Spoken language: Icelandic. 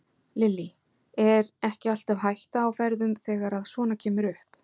Lillý: Er ekki alltaf hætta á ferðum þegar að svona kemur upp?